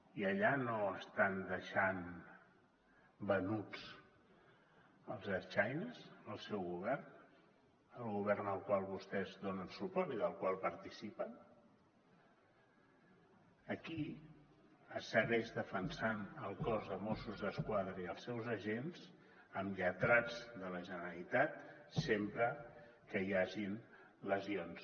i allà no estan deixant venuts els ertzaines el seu govern el govern al qual vostès donen suport i del qual participen aquí es segueixen defensant el cos de mossos d’esquadra i els seus agents amb lletrats de la generalitat sempre que hi hagin lesions